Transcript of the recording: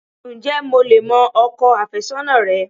Ǹjé mo lè mọ ọkọ àfésónà rẹ?